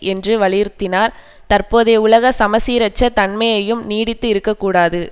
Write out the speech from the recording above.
என்று வலியுறுத்தினார் தற்போதைய உலக சமசீரற்ற தன்மையும் நீடித்து இருக்க கூடாது